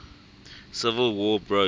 civil war broke